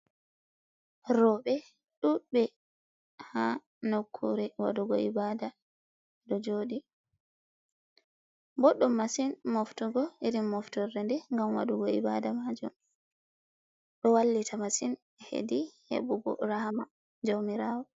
Roɓe ɗudɓe ha nokkure waɗugo ibada ɗo joɗi. Ɓoɗɗum masin moftugo iri moftore nde ngam waɗugo ibada majum. Ɗo wallita masin hedi heɓugo rahama jaumirawo.